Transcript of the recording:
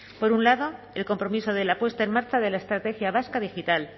por un lado el compromiso de la puesta en marcha de la estrategia vasca digital